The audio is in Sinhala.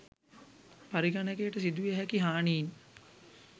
පරිගණකයට සිදුවිය හැකි හානීන්